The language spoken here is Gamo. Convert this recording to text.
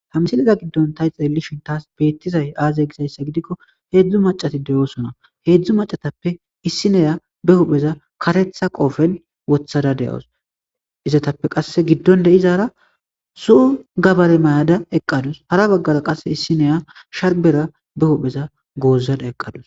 Hamsiliza giddon tay xeellishin taas beettizay aazey gizayssa gidikko heedzdzu macati deyoosona heedzdzu macatappe issineya be hupheza karetha qoofen wothada de,os izatappe qasse giddon de7izaara su gabare mayada eqqadus hara baggara qasse issineya sharbera be hupheza goozada eqqadus.